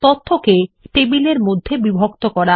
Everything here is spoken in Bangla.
তথ্যকে টেবিলের মধ্যে বিভক্ত করা